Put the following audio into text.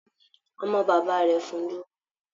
Ọmọ bàbá rẹ̀ fún un lówó.